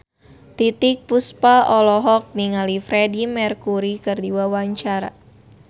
Titiek Puspa olohok ningali Freedie Mercury keur diwawancara